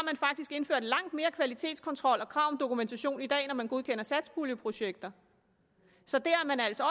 indført langt mere kvalitetskontrol og krav om dokumentation i dag når man godkender satspuljeprojekter så dér er man altså